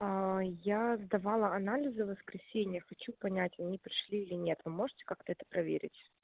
я сдавала анализы воскресенье хочу понять они пришли или нет вы можете как-то это проверить